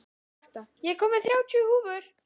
Marta, ég kom með þrjátíu húfur!